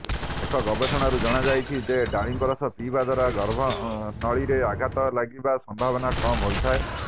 ଏକ ଗବେଷଣାରୁ ଜଣାଯାଇଛି ଯେ ଡାଳିମ୍ବ ରସ ପିଇବା ଦ୍ୱାରା ଗର୍ଭନଳୀରେ ଆଘାତ ଲାଗିବା ସମ୍ଭାବନା କମ୍ ହୋଇଥାଏ